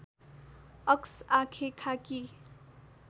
अक्स आँखेँ खाकी